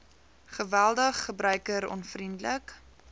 geweldig gebruiker onvriendelik